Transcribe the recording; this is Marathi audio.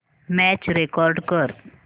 मॅच रेकॉर्ड कर